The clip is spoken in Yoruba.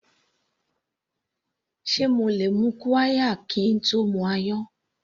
Sé mo lè mu qirya kín tó mu ayan.